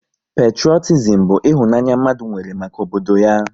Petrotizim bụ ịhụnanya mmadụ nwere maka obodo ya